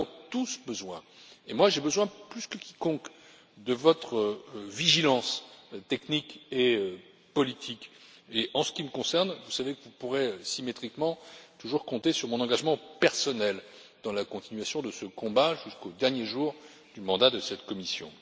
Nous avons tous besoin et moi plus que quiconque de votre vigilance technique et politique et, en ce qui me concerne, vous savez que vous pourrez, de la même manière, toujours compter sur mon engagement personnel dans la poursuite de ce combat jusqu'au dernier jour du mandat de cette Commission.